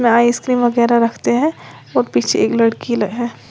यहां आइसक्रीम वगेरा रखते हैं और पीछे एक लड़की है।